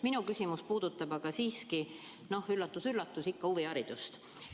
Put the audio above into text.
Minu küsimus puudutab aga, üllatus-üllatus, ikka huviharidust.